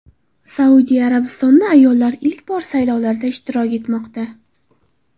Saudiya Arabistonida ayollar ilk bor saylovlarda ishtirok etmoqda.